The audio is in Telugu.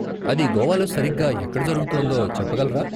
అది గోవాలో సరిగ్గా ఎక్కడ జరుగుతోందో చెప్పగలరా?